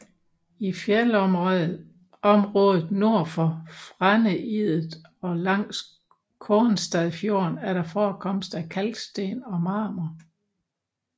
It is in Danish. I fjeldområdet nord for Fræneidet og langs Kornstadfjorden er der forekomst af kalksten og marmor